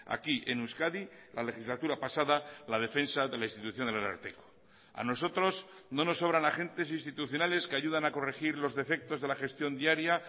aquí en euskadi la legislatura pasada la defensa de la institución del ararteko a nosotros no nos sobran agentes institucionales que ayudan a corregir los defectos de la gestión diaria